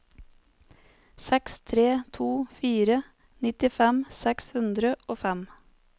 seks tre to fire nittifem seks hundre og fem